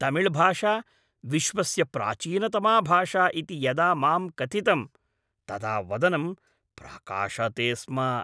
तमिळ्भाषा विश्वस्य प्राचीनतमा भाषा इति यदा माम् कथितम् तदा वदनं प्रकाशते स्म।